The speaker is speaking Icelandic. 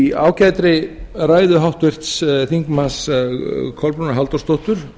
í ágætri ræðu háttvirts þingmanns kolbrúnar halldórsdóttur